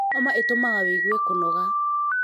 Homa ītūmaga wigue kūnoga